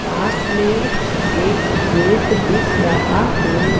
पास में एक गेट दिख रहा है।